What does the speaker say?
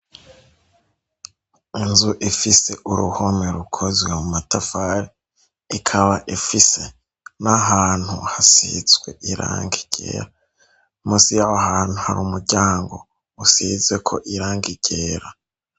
Inzu ifise uruhome rukozwe mu matafari ikaba ifise na hantu hasitswe iranka igera musi yahantu hari umuryango usizeko iranga igera.